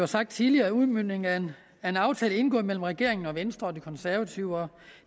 sagt tidligere en udmøntning af en aftale indgået mellem regeringen venstre og de konservative og